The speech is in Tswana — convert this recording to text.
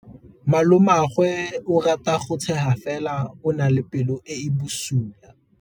Malomagwe o rata go tshega fela o na le pelo e e bosula.